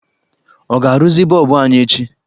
Ọ ga-arụzi bọlbụ anyị echi?